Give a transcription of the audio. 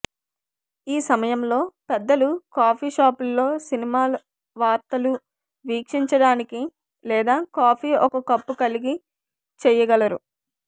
ఈ సమయంలో పెద్దలు కాఫీ షాపుల్లో సినిమా వార్తలు వీక్షించడానికి లేదా కాఫీ ఒక కప్పు కలిగి చెయ్యగలరు